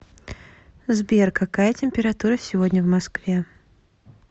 сбер какая температура сегодня в москве